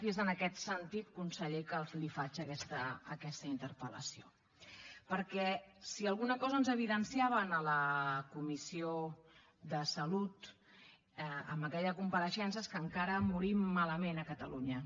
i és en aquest sentit conseller que li faig aquesta interpel·lació perquè si alguna cosa ens evidenciava en la comissió de salut amb aquella compareixença és que encara morim malament a catalunya